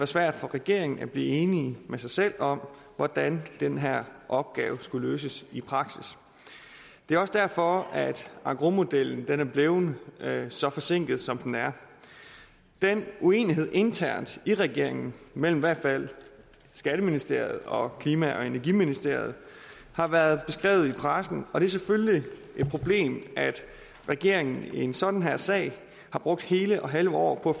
svært for regeringen at blive enige med sig selv om hvordan den her opgave skulle løses i praksis det er også derfor at engrosmodellen er blevet så forsinket som den er den uenighed internt i regeringen mellem i hvert fald skatteministeriet og klima og energiministeriet har været beskrevet i pressen og det er selvfølgelig et problem at regeringen i en sådan her sag har brugt hele og halve år på